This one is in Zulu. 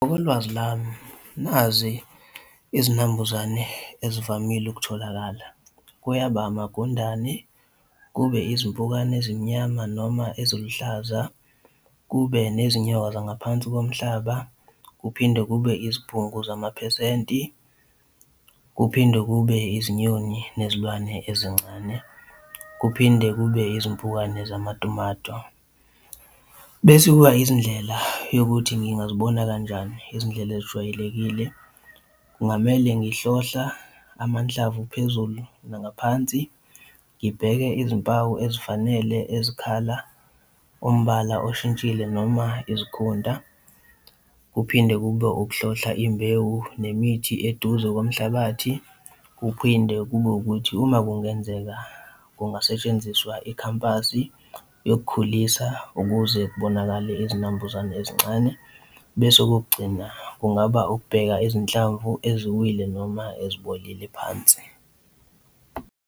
Ngolwazi lami, nazi izinambuzane ezivamile ukutholakala, kuyaba amagundane kube izimpukane ezimnyama noma eziluhlaza, kube nezinyawo zangaphansi komhlaba. Kuphinde kube izibhungu zamaphesenti, kuphinde kube izinyoni nezilwane ezincane, kuphinde kube izimpukane zamatomato, bese kuba izindlela yokuthi ngingaziboni kanjani izindlela ezijwayelekile. Kungamele ngikuhlohla amanhlamvu phezulu nangaphansi, ngibheke izimpawu ezifanele ezikhala umbala oshintshile noma izikhunta. Kuphinde kube ukuhlohla imbewu nemithi eduze komhlabathi. Kuphinde kube ukuthi uma kungenzeka kungasetshenziswa ikhampani yokukhulisa ukuze kubonakale izinambuzane ezincane. Bese okokugcina kungaba ukubheka izinhlamvu eziwile noma ezibolile phansi.